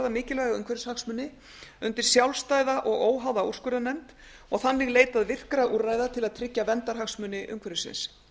mikilvæga umhverfishagsmuni undir sjálfstæða og óháða úrskurðarnefnd og þannig leitað virkra úrræða til verndarhagsmuni umhverfisins